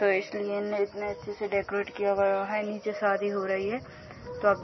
तो इसलिए इन्होंने इतने अच्छे से डेकोरेट किया हुआ वा है। नीचे शादी हो रही है तो अब --